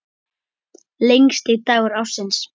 Lengsti dagur ársins.